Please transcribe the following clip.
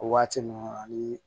O waati ninnu ani